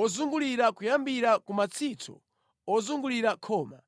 ozungulira kuyambira ku matsitso ozungulira khoma.